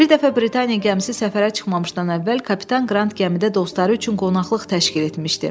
Bir dəfə Britaniya gəmisi səfərə çıxmamışdan əvvəl kapitan Qrant gəmidə dostları üçün qonaqlıq təşkil etmişdi.